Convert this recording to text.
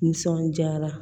Nisɔndiyara